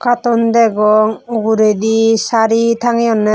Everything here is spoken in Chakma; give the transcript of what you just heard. aaton degong uguredi sari tangiyoney.